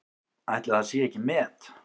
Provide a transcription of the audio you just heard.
Ætli það sé ekki met?